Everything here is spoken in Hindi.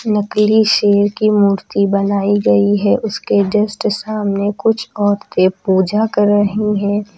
नकली शेर की मूर्ति बनाई गई है उसके जस्ट सामने कुछ औरते पूजा कर रही हैं।